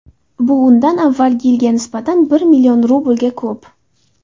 Bu undan avvalgi yilga nisbatan bir million rublga ko‘p.